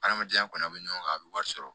Adamadenya kɔnɔ bɛ ɲɔgɔn kan a bɛ wari sɔrɔ